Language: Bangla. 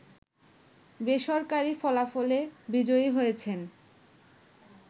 বেসরকারি ফলাফলে বিজয়ী হয়েছেন